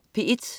P1: